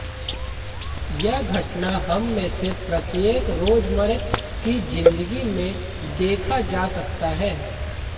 यह घटना हम में से प्रत्येक रोजमर्रा की जिंदगी में देखा जा सकता है